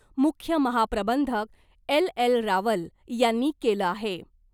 मुख्य महाप्रबंधक L. L. Rawal यांनी केलं आहे .